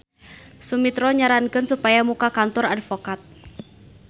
Sumitro nyarankeun supaya muka kantor advokat.